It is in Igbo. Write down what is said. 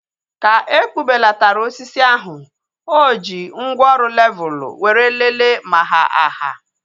Ka ekpubelatara osisi ahu, o ji mgwooru levul were leele ma ha aha